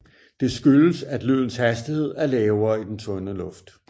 Det skyldes at lydens hastighed er lavere i den tynde luft